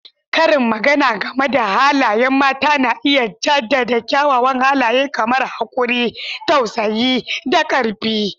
Karin magana game da halayen mata na iya jaddada kyawawan halaye kamar haƙuri, tausayi, da ƙarfi.